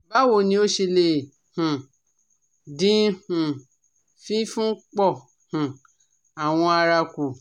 Bawo ni o ṣe le um din um fifun po um awo ara ku?